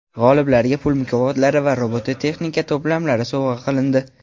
G‘oliblarga pul mukofotlari va robototexnika to‘plamlari sovg‘a qilindi.